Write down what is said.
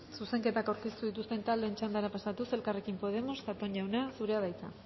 zuzenketak aurkeztu dituzten taldeen txandara pasatuz elkarrekin podemos zatón jauna zurea da hitza